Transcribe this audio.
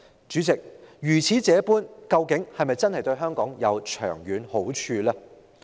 主席，如此這般，究竟是否真的對香港有長遠的好處呢？